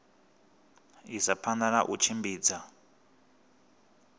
isa phanda na u tshimbidza